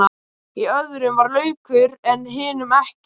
Í öðrum var laukur en hinum ekki.